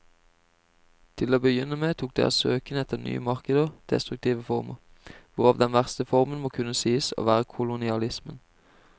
Til å begynne med tok deres søken etter nye markeder destruktive former, hvorav den verste formen må kunne sies å være kolonialismen.